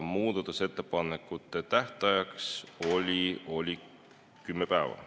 Muudatusettepanekute tähtajaks on kümme päeva.